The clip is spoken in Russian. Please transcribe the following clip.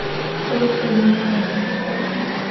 короткое замыкание поставь ка